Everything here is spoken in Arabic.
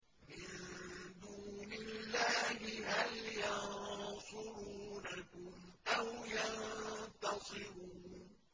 مِن دُونِ اللَّهِ هَلْ يَنصُرُونَكُمْ أَوْ يَنتَصِرُونَ